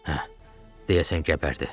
Hə, deyəsən gəbərdi.